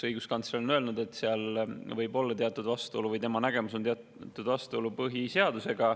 Õiguskantsler on öelnud, et seal võib olla teatud vastuolu põhiseadusega, või tema nägemus on, et seal on teatud vastuolu.